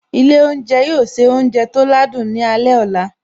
Ilé oúnjẹ yóò se oúnjẹ tó ládùn ní alẹ́ ọ̀la